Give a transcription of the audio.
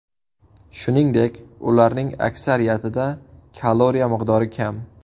Shuningdek, ularning aksariyatida kaloriya miqdori kam.